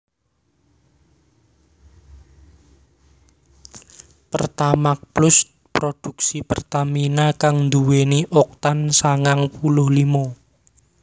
Pertamax Plus produksi Pertamina kang nduwèni Oktan sangang puluh limo